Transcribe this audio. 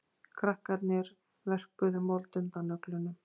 Krakkarnir verkuðu mold undan nöglunum.